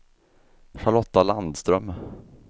Charlotta Landström